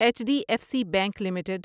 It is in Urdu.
H D F C bank limited